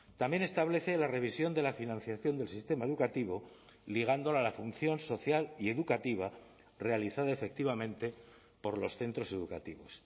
también establece la revisión de la financiación del sistema educativo ligándola a la función social y educativa realizada efectivamente por los centros educativos